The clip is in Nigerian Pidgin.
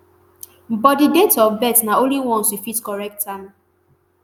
but di date of birth na only once you fit correct am.